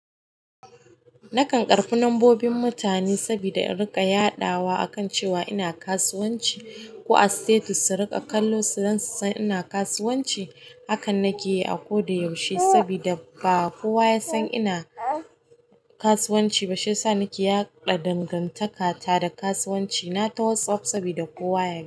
Nakan ƙarbi nambobin mutane sabida in riƙa yadawa akan cewa ina kasuwaci ko a status su riƙa kallo don su san ina kasuwanci hakan na keyi a ko da yaushe sabida ba kowa yasan ina kasuwanci ba, shiyasa nake yaɗa dagantakata ta da kasuwanci na ta Whatsapp sabida kowa ya gani.